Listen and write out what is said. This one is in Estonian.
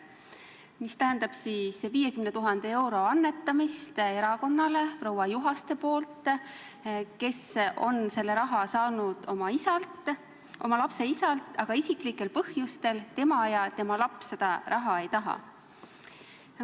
See tähendab 50 000 euro annetamist erakonnale proua Juhaste poolt, kes on selle raha saanud oma lapse isalt, aga isiklikel põhjustel tema ja tema laps seda raha ei taha.